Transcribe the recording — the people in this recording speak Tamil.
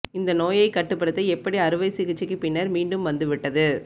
இந்த நோயைக் கட்டுப்படுத்த எப்படி அறுவை சிகிச்சைக்கு பின்னர் மீண்டும் வந்துவிட்டது